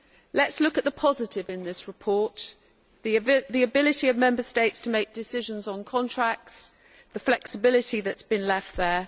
let us look at the positive in this report the ability of Member States to make decisions on contracts, and the flexibility that has been left there.